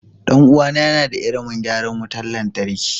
Ɗan uwana yana da ilimin gyaran wutar lantarki.